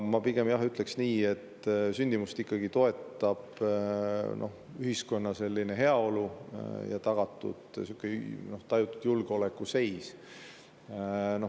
Ma pigem ütleks nii, et sündimust toetab ühiskonna heaolu ja tajutud julgeolekuseis.